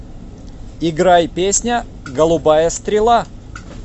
играй песня голубая стрела